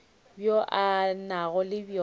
bjo a nago le bjona